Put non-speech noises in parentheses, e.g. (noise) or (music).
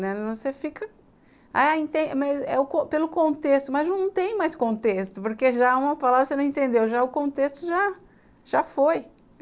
Né, você fica, ah, enten ,mas é, (unintelligible) não tem mais contexto, porque já uma palavra que você não entendeu, já o contexto já, já foi.